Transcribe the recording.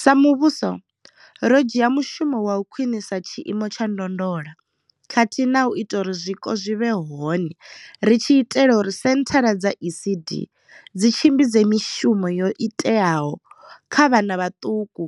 Sa muvhuso, ro dzhia mushumo wa u khwinisa tshiimo tsha ndondolo khathihi na u ita uri zwiko zwi vhe hone ri tshi itela uri senthara dza ECD dzi tshimbidze mishumo yo iteaho kha vhana vhaṱuku